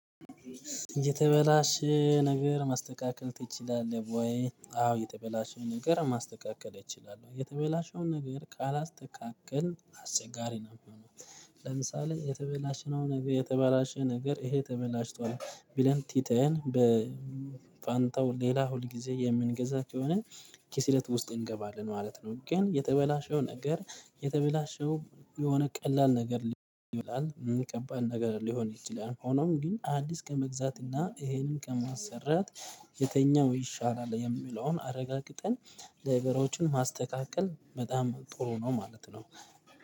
የተበላሸ ነገር ማስተካከል ትችላለህ ወይ? አዎ የተበላሸ ነገር ማስተካከል እችላለሁ የተበላሸውን ነገር ካላስተካከልን አስቸጋሪ ነው የሚሆነው። ለምሳሌ የተበላሸውን ነው ነገር የተበላሸ ነገር ይሄ ተበላሽቷል ብለን ቲተን በፋንታው ሌላ ሁልጊዜ የምንገዛት ከሆነ ኪስለት ውስጥ እንገባለን ማለት ነው። ግን የተበላሸው ነገር የተበላሸው የሆነ ቀላል ነገር ሊሆን ይችላል ከባድ ነገር ሊሆን ይችላል ሆኖም ግን አዲስ ከመግዛት እና ይሄንን ከማሰራት የተኛው ይሻላል የሚለውን አረጋግጠን ነገሮችን ማስተካከል በጣም ጥሩ ነው። ማለት ነው።